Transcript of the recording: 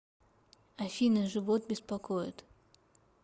афина живот беспокоит